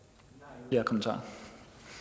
jamen så